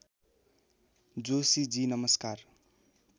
जोशीजी नमस्कार